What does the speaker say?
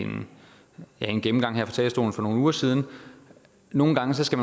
en gennemgang her fra talerstolen for nogle uger siden nogle gange skal